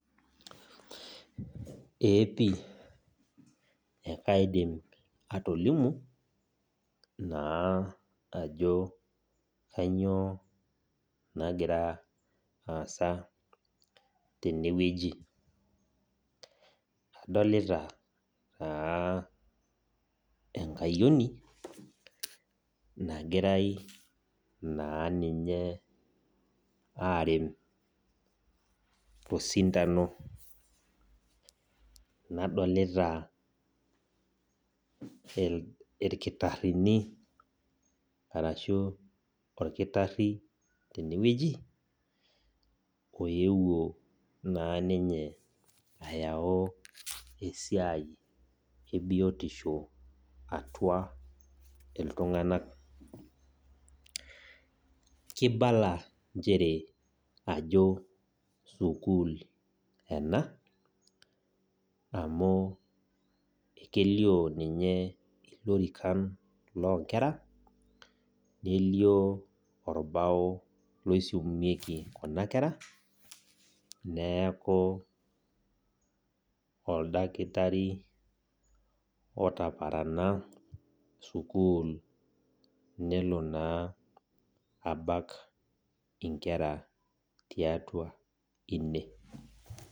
Ee pii ekaidim atolimu naa ajo kainyoo nagira aasa tenewueji, adolita naa enkayioni nagirai naa ninye arem tosindano, nadolita ilkitarini arashu olkitari tene wueji, oeuwo naa ninye ayau esiai e biotisho atua iltung'anak. Keibala nchere ajo sukuul ena, amu kelio ninye ilorikan loo inkera, nelio olbao loisumieki kuna kera, neaku oldakitari otaparana sukuul nelo naa abak inkera tiatua ine.